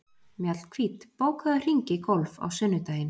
Mjallhvít, bókaðu hring í golf á sunnudaginn.